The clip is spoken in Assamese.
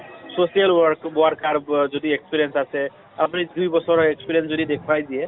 social work worker ব যদি experience আছে । আপুনি দুই বছৰৰ experience যদি দেখুৱাই দিয়ে